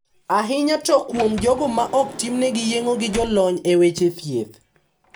Ahinya to kuom jogo ma ok timne yeng`o gi jolony e weche thieth.